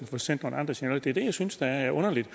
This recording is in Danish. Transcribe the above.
få sendt nogle andre signaler det er det jeg synes er underligt